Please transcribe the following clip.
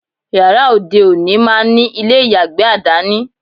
Yàrá òde òní máá ní ilé ìyàgbẹ̀ àdání